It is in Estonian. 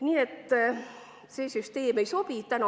Nii et see süsteem ei sobi.